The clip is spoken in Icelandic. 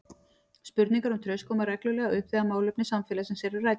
Spurningar um traust koma reglulega upp þegar málefni samfélagsins eru rædd.